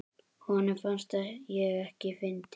Honum fannst ég ekkert fyndin.